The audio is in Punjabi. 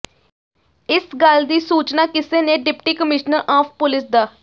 ਇਸ ਗ਼ੱਲ ਦੀ ਸੂਚਨਾ ਕਿਸੇ ਨੇ ਡਿਪਟੀ ਕਮਿਸ਼ਨਰ ਆਫ਼ ਪੁਲੀਸ ਡਾ